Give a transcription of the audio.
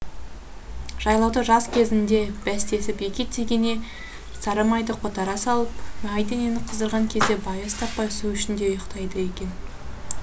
жайлауда жас кезінде бәстесіп екі тегене сары майды қотара салып май денені қыздырған кезде байыз таппай су ішінде ұйықтайды екен